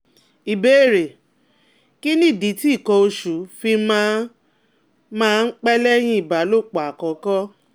Ìbéèrè: Kí nìdí tí ikan osu fi máa máa ń pẹ́ lẹ́yìn ìbálòpọ̀ àkọ́kọ́?